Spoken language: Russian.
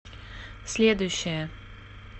следующая